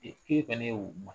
Ee ke fɛnɛ ye o